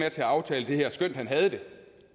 at aftale det her skønt han havde det